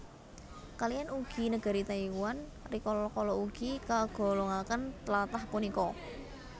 Kaliyan ugi negari Taiwan rikala kala ugi kagolongaken tlatah punika